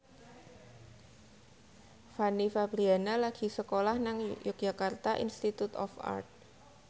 Fanny Fabriana lagi sekolah nang Yogyakarta Institute of Art